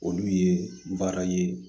Olu ye baara ye